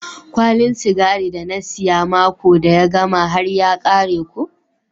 Kwalin sigari da na siya mako da ya gama har ya kare ko.